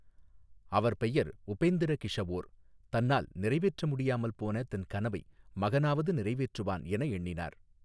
அவர் பெயர் உபெந்திரகிஷஓர் தன்னால் நிறைவேற்றமுடியாமல் போன தன் கனவை மகனாவது நிறைவேற்றுவான் என எண்ணினார்.